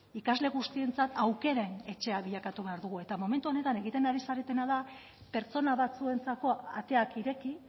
ikasle guztientzat aukera etxea bilakatu behar dugu eta momentu honetan egiten ari zaretena da pertsona batzuentzako ateak ireki